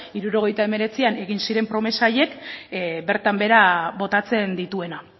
hirurogeita hemeretzian egin ziren promesa horiek bertan behera botatzen dituena